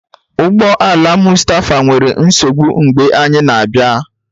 Ụgbọ ala Mustapha nwere nsogbu mgbe anyị na-abịa.